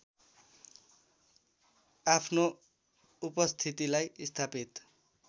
आफ्नो उपस्थितिलाई स्थापित